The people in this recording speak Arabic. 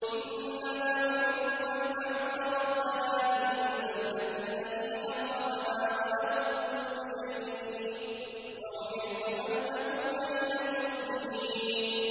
إِنَّمَا أُمِرْتُ أَنْ أَعْبُدَ رَبَّ هَٰذِهِ الْبَلْدَةِ الَّذِي حَرَّمَهَا وَلَهُ كُلُّ شَيْءٍ ۖ وَأُمِرْتُ أَنْ أَكُونَ مِنَ الْمُسْلِمِينَ